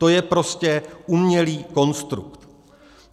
To je prostě umělý konstrukt.